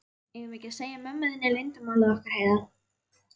Eigum við ekki að segja mömmu þinni leyndarmálið okkar, Heiða?